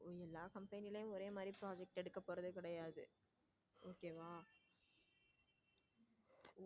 எல்லா company யோ ஒரே மாதிரி project எடுக்க போறது கிடையாது okay வா.